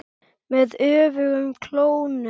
Með öfugum klónum.